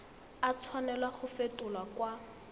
a tshwanela go fetolwa kwa